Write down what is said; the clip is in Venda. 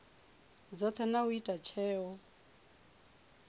dzothe na u ita tsheo